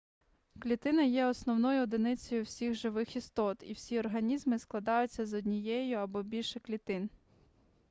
клітина є основною одиницею всіх живих істот і всі організми складаються з однієї або більше клітин